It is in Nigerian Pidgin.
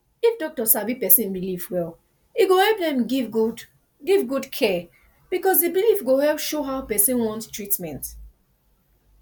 if doctor sabi person belief well e go help dem give good give good care because the belief go help show how person want treatment